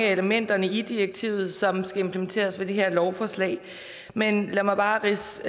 af elementerne i direktivet som skal implementeres ved det her lovforslag men lad mig bare ridse